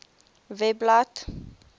webblad